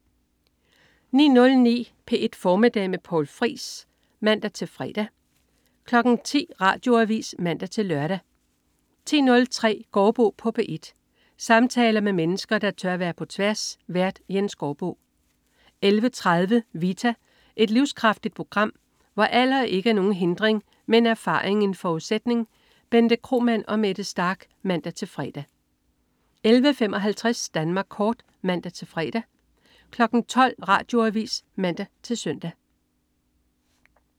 09.09 P1 Formiddag med Poul Friis (man-fre) 10.00 Radioavis (man-lør) 10.03 Gaardbo på P1. Samtaler med mennesker, der tør være på tværs. Vært: Jens Gaardbo 11.30 Vita. Et livskraftigt program, hvor alder ikke er nogen hindring, men erfaring en forudsætning. Bente Kromann og Mette Starch (man-fre) 11.55 Danmark kort (man-fre) 12.00 Radioavis (man-søn)